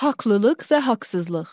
Haqlılıq və haqsızlıq.